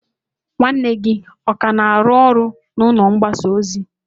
Nwanne gị ọ ka na-arụ ọrụ n'ụlọ mgbasa ozi?